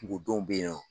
Kungo dɔw be yen nɔ